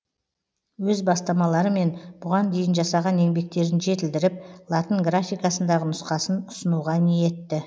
өз бастамаларымен бұған дейін жасаған еңбектерін жетілдіріп латын графикасындағы нұсқасын ұсынуға ниетті